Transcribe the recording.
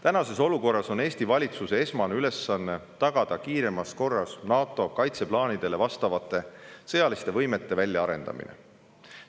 Praeguses olukorras on Eesti valitsuse esmane ülesanne tagada kiiremas korras NATO kaitseplaanidele vastavate sõjaliste võimete väljaarendamine.